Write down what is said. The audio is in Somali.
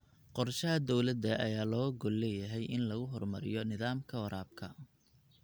Qorshaha dowladda ayaa looga gol leeyahay in lagu horumariyo nidaamka waraabka.